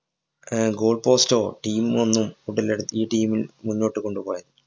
ആഹ് goal post ഓ team ഒന്നും ഉടലെടു ഈ team ല്‍ മുന്നോട്ട് കൊണ്ടുപോയാ